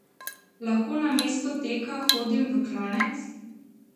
Lahko namesto teka hodim v klanec?